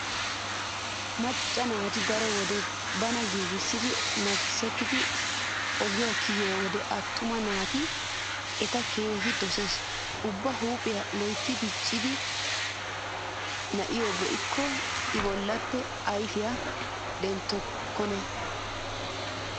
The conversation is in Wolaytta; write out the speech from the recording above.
Macca naati daro wode bana giigissidi makkisettidi ogiya kiyiyo wode attuma naati eta keehi dosees. Ubba huuphiya loytta dichchida na'iyo be'ikko I bollappe ayfiya denttokkona.